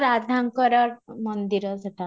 ରାଧାଙ୍କର ମନ୍ଦିର ସେଇଟା